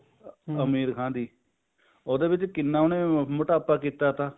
ਅਮੀਰ ਖਾਣ ਦੀ ਉਹੇ ਵਿੱਚ ਕਿੰਨਾ ਉਹਨੇ ਮੋਟਾਪਾ ਕੀਤਾ ਤਾ